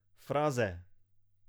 Fraze.